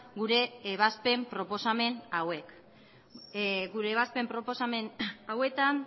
gure ebazpen proposamen hauek gure ebazpen proposamen hauetan